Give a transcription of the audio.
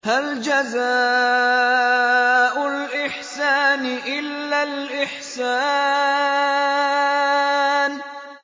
هَلْ جَزَاءُ الْإِحْسَانِ إِلَّا الْإِحْسَانُ